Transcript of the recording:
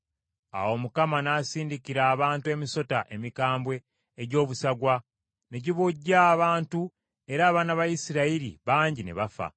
Awo Mukama n’asindikira abantu emisota emikambwe egy’obusagwa, ne gibojja abantu, era abaana ba Isirayiri bangi ne bafa.